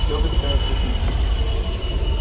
с чего бы такая стеснительность